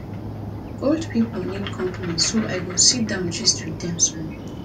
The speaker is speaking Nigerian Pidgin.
old people need company so i go sit down gist with them small